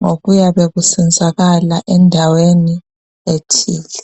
ngokuyabe kusenzakala endaweni ethile.